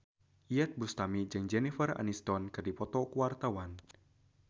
Iyeth Bustami jeung Jennifer Aniston keur dipoto ku wartawan